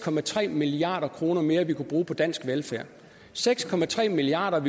milliard kroner mere vi kunne bruge på dansk velfærd seks milliard